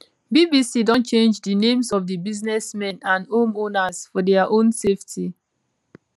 bbc don change di names of di businessmen and homeowners for dia own safety